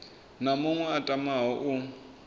na muṅwe a tamaho u